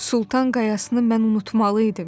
Sultan qayasını mən unutmalı idim.